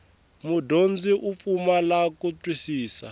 mudyondzi u pfumala ku twisisa